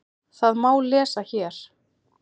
Það má lesa hér.